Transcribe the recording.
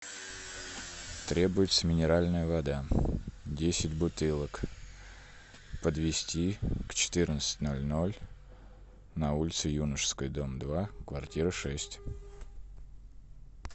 требуется минеральная вода десять бутылок подвести к четырнадцати ноль ноль на улицу юношеская дом два квартира шесть